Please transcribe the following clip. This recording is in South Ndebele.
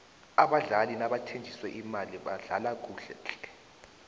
abadlali nabathenjiswe imali badlala kuhle tle